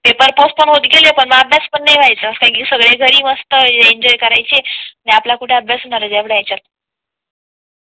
paper postponed होत गेले पण अभ्यास पण नाही व्हायचा कारण घरी मस्त एन्जॉय करायचे आणि आपल्या कुठे अभ्यास होणार तेवढ्या हिच्यात